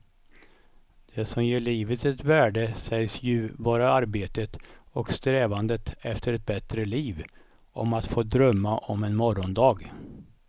Det som ger livet ett värde sägs ju vara arbetet och strävandet efter ett bättre liv, om att få drömma om en morgondag.